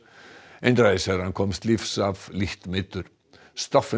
einræðisherrann komst lífs af lítið meiddur